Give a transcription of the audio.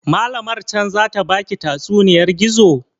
Malamar can zata baki tatsuniyar gizo?